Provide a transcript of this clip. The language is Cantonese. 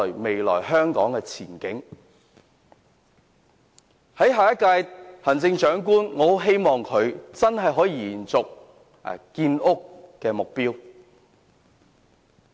我希望下一屆行政長官能夠延續建屋目標。